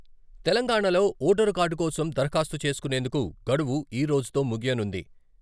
తెలంగాణాలో voter card కోసం దరఖాస్తు చేసుకునేందుకు గడువు ఈ రోజుతో ముగియనుంది.